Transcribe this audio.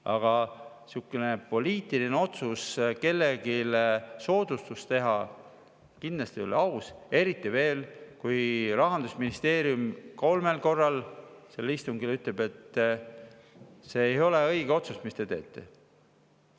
Aga selline poliitiline otsus kellelegi soodustust teha kindlasti ei ole aus, eriti veel, kui Rahandusministeerium kolmel korral istungil ütleb, et see ei ole õige otsus, mis te teete.